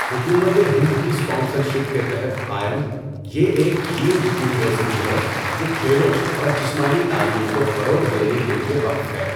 حکومت ہند کی sponsorship کے تحت قائم، یہ ایک ڈیمڈ یونیورسٹی ہے جو کھیلوں اور جسمانی تعلیم کو فروغ دینے کے لیے وقف ہے۔